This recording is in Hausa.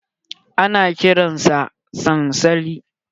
Ana kiran sa sansali.